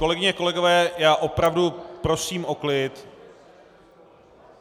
Kolegyně, kolegové, já opravdu prosím o klid.